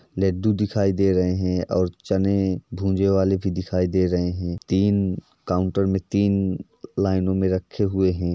लड्डू दिखाई दे रहें हैं और चने भुजेवाले भी दिखाई दे रहे हैं। तीन काउंटर में तीन लाइनों में रखे हुए हैं।